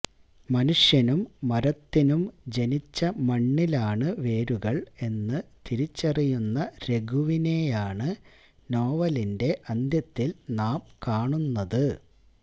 മനുഷ്യനും മരത്തിനും ജനിച്ച മണ്ണിലാണ് വേരുകള് എന്ന് തിരിച്ചറിയുന്ന രഘുവിനെയാണ് നോവലിന്റെ അന്ത്യത്തില് നാം കാണുന്നത്